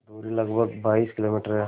दूरी लगभग बाईस किलोमीटर है